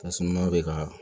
Tasuma bɛ ka